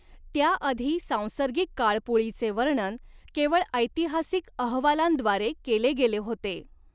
त्याआधी सांसर्गिक काळपुळीचे वर्णन केवळ ऐतिहासिक अहवालांद्वारे केले गेले होते.